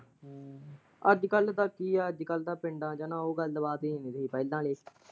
ਅੱਜ ਕੱਲ ਤਾਂ ਕੀ ਆ ਅੱਜ ਕੱਲ ਤਾਂ ਪਿੰਡਾਂ ਚ ਓਹ ਗੱਲਬਾਤ ਹੀ ਹੈਨੀ ਜੋ ਪਹਿਲਾਂ ਹੀ।